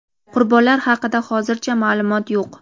Qurbonlar haqida hozircha ma’lumot yo‘q.